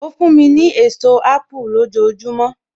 Ó fún mi ní èso apu lójojúmọ́.